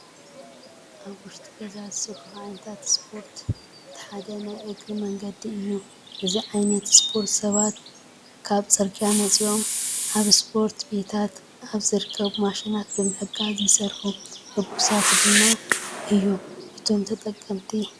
ውሽጢ ገዛ ዝስርሑ ዓይነታት ስፖርት እቲ ሓደ ናይ እግሪ መንገዲ እዩ። እዚ ዓይነት ስፖርት ሰባት ካብ ፅርጊያ ወፂኦም ኣብ ስፖርት ቤታት ኣብ ዝርከቡ ማሽናት ብምሕጋዝ ይስርሑ። ሕጉሳት ድማ እዮም እቶም ተጠቀምቲ።